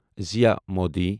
زِیہ Modi